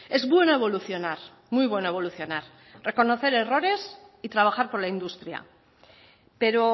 es bueno evolucionar muy bueno evolucionar reconocer errores y trabajar por la industria pero